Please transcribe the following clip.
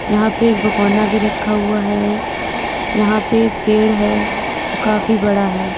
यहां पे एक भगोना भी रखा हुआ है यहां पे एक पेड़ है जो काफी बड़ा है।